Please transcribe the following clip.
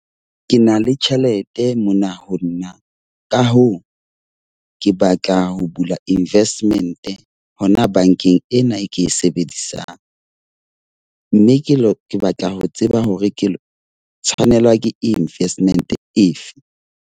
Ke na le tjhelete mona ho nna, ka hoo ke batla ho bula Investment hona bankeng ena e ke e sebedisang. Mme ke batla ho tseba hore ke tshwanelwa ke investment efe.